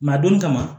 a donnin kama